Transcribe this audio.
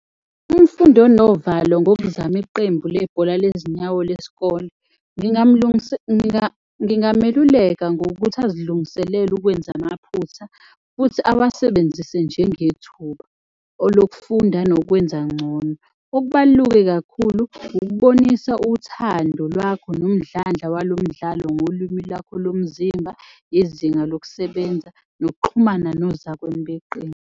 Umfundi onovalo ngokuzama iqembu lebhola lezinyawo lesikole, ngingameluleka ngokuthi azilungiselele ukwenza amaphutha futhi awasebenzise njengethuba lokufunda nokwenza ngcono. Okubaluke kakhulu ukubonisa uthando lwakho nomdlandla walo umdlalo ngolimi lwakho lomzimba, izinga lokusebenza nokuxhumana nozakwenu beqembu.